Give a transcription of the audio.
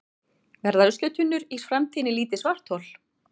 verða ruslatunnur í framtíðinni lítil svarthol